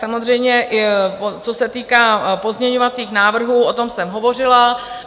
Samozřejmě co se týká pozměňovacích návrhů, o tom jsem hovořila.